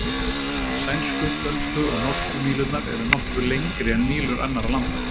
Sænsku, dönsku og norsku mílurnar eru nokkru lengri en mílur annarra landa.